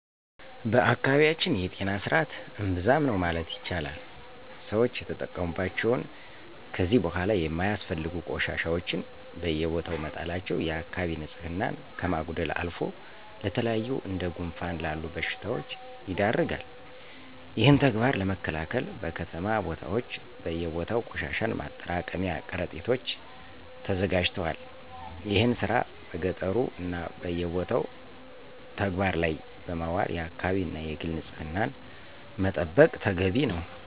በአካባቢያችን የጤና ስርዐት እምብዛም ነው ማለት ይቻላል። ሰወች የተጠቀሙባቸውን ከዚ በኋላ የማያስፈልጉ ቆሻሻወችን በየቦታው መጣላቸው የአከባቢ ንፅህናን ከማጉደልም አልፎ ለተለያዩ እንደ ጉንፋን ላሉ በሽታወች ይዳርጋል። ይህን ተግባር ለመከላከል በከተማ ቦታወች በየቦታው ቆሻሻን ማጠራቀሚያ ቀረጢቶች ተዘጋጅተዋል። ይህን ስራ በገጠሩ እና በየቦታው ተግበባር ላይ በማዋል የአከባቢን እና የግልን ንፅህና መጠበቅ ተገቢ ነው።